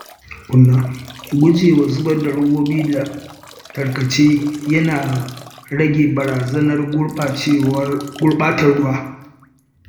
Gujewa zubar da robobi da tarkace yana rage barazanar gurɓatar ruwa.